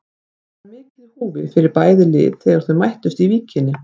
Það var mikið í húfi fyrir bæði lið þegar þau mættust í Víkinni.